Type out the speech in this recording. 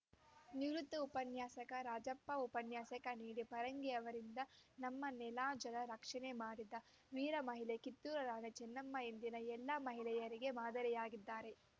ನಿವೃತ್ತ ಉಪನ್ಯಾಸಕ ರಾಜಪ್ಪ ಉಪನ್ಯಾಸ ನೀಡಿ ಫರಂಗಿಯವರಿಂದ ನಮ್ಮ ನೆಲಜಲ ರಕ್ಷಣೆ ಮಾಡಿದ ವೀರ ಮಹಿಳೆ ಕಿತ್ತೂರು ರಾಣಿ ಚೆನ್ನಮ್ಮ ಇಂದಿನ ಎಲ್ಲ ಮಹಿಳೆಯರಿಗೆ ಮಾದರಿಯಾಗಿದ್ದಾರೆ